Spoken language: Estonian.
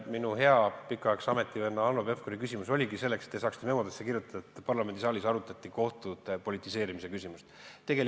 Minu hea kauaaegse ametivenna Hanno Pevkuri küsimus oligi esitatud selleks, et te saaksite memodesse kirjutada, et parlamendisaalis arutati kohtute politiseerimise küsimust.